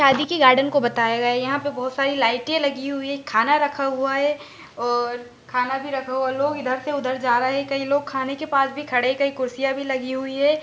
शादी की गार्डन को बताया गया है यहा पे बहुत सारी लाइटे लगी हुई है खाना रखा हुआ है और खाना भी रखा हुआ है लोग इधर से उधर जा रहे है कई लोग खाने के पास भी खड़े कई कुर्सीया भी लगी हुई है।